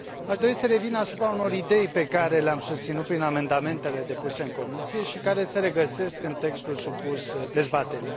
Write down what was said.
Aș dori să revin asupra unor idei pe care le am susținut prin amendamentele depuse în Comisie și care se regăsesc în textul supus dezbaterii.